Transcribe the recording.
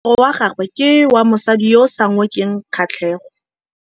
Moaparô wa gagwe ke wa mosadi yo o sa ngôkeng kgatlhegô.